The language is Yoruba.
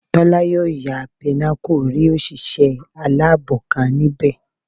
Tọ́lá yóò ya Pinnacle rí òṣìṣẹ́ aláàbò kan níbẹ̀